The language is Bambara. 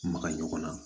Maga ɲɔgɔn na